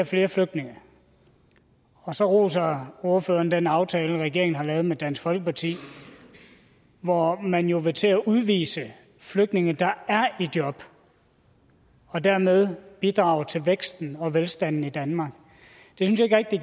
flere flygtninge og så roser ordføreren den aftale regeringen har lavet med dansk folkeparti hvor man jo vil til at udvise flygtninge der er i job og dermed bidrager til væksten og velstanden i danmark jeg synes ikke rigtig